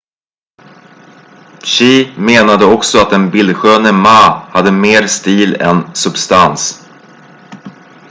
hsieh menade också att den bildsköne ma hade mer stil än substans